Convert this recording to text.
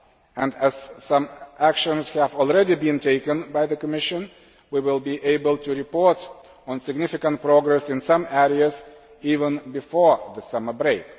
And as some actions have already been taken by the Commission, we will even be able to report on significant progress in some areas before the summer break.